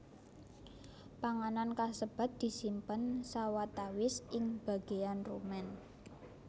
Panganan kasebat disimpen sawatawis ing bagéyan rumen